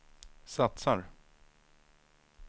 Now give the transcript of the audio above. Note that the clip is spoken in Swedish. satsar